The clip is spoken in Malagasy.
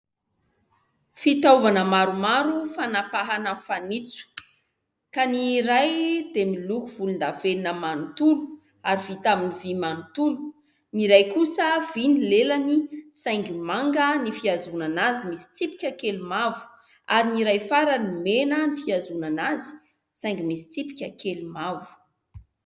Fitaovana maromaro fanapahana fanitso, ka ny iray dia miloko volondavenona manontolo ary vita amin'ny vy manontolo, ny iray kosa vy ny lelany saingy manga ny fihazonana azy misy tsipika kely mavo ary ny iray farany mena ny fihazonana azy saingy misy tsipika kely mavo.